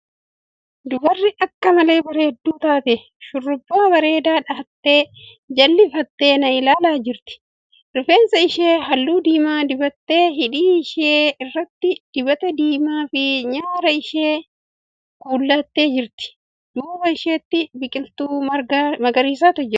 Dubarri akka malee bareedduu taate shurrubbaa bareedaa dha'attee cillaaffattee na ilaalaa jirti. Rifeensa ishee halluu diimaa dibattee hidhii ishee irratti dibata diimaa fi nyaara ishee kuullattee jirti. Duuba isheetti biqiltuu magariisatu jira.